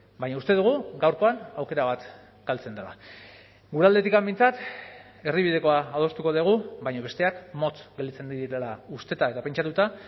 baina uste dugu gaurkoan aukera bat galtzen dela gure aldetik behintzat erdibidekoa adostuko dugu baina besteak motz gelditzen direla usteta eta pentsatuta